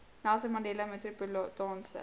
nelson mandela metropolitaanse